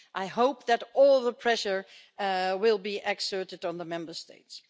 I hope that all the pressure will be exerted on the Member States.